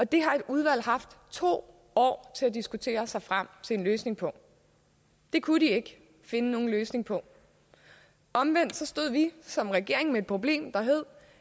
det har et udvalg haft to år til at diskutere sig frem til en løsning på de kunne ikke finde nogen løsning på det omvendt stod vi som regering med et problem der hed